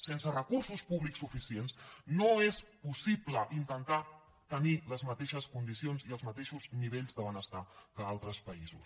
sense recursos públics suficients no és possible intentar tenir les mateixes condicions i els mateixos nivells de benestar que altres països